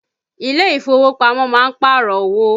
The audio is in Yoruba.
ilé ìfowópamọ́ má ń Pààrọ̀ owó